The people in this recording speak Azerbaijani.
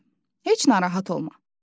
Hə, heç narahat olma.